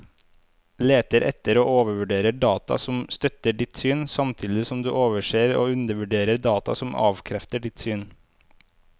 Leter etter og overvurderer data som støtter ditt syn, samtidig som du overser og undervurderer data som avkrefter ditt syn.